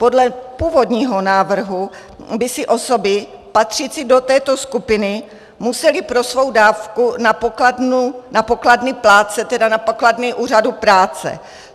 Podle původního návrhu by si osoby patřící do této skupiny musely pro svou dávku na pokladny plátce, tedy na pokladny úřadu práce.